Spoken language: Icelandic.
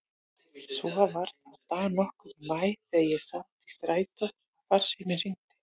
Svo var það dag nokkurn í maí þegar ég sat í strætó að farsíminn hringdi.